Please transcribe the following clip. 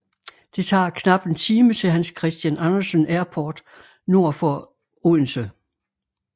Det tager knap en time til Hans Christian Andersen Airport nord for Odense